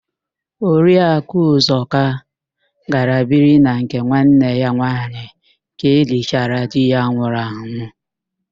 Oriakụ Ụzọka gara biri na nke nwanne ya nwaanyị ka elichara di ya nwụrụ anwụ